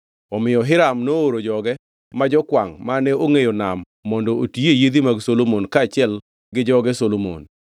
Omiyo Hiram nooro joge ma jokwangʼ mane ongʼeyo nam mondo oti e yiedhi mag Solomon kaachiel gi joge Solomon.